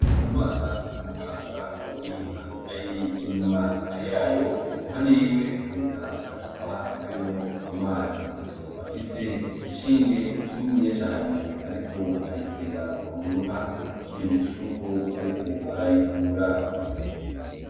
Ndikumana n'umuganga w'inka , ari inyuma yayo iruhande yiwe haboneka agacupa karimwo amazi . Afise igishinge kininiya cane ariko agitera mu nka , ikimenyetso cuko ariko arayivura.